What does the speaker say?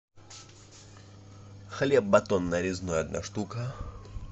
хлеб батон нарезной одна штука